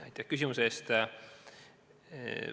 Aitäh küsimuse eest!